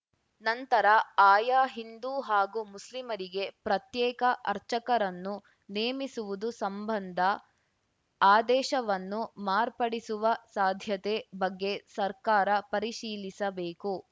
ನಂತರ ಆಯಾ ಹಿಂದು ಹಾಗೂ ಮುಸ್ಲಿಮರಿಗೆ ಪ್ರತ್ಯೇಕ ಅರ್ಚಕರನ್ನು ನೇಮಿಸುವುದು ಸಂಬಂಧ ಆದೇಶವನ್ನು ಮಾರ್ಪಡಿಸುವ ಸಾಧ್ಯತೆ ಬಗ್ಗೆ ಸರ್ಕಾರ ಪರಿಶೀಲಿಸಬೇಕು